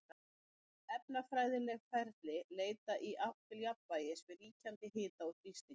Öll efnafræðileg ferli leita í átt til jafnvægis við ríkjandi hita og þrýsting.